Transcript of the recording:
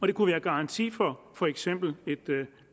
det kunne være garanti for for eksempel et